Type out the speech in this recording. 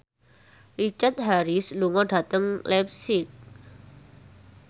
Richard Harris lunga dhateng leipzig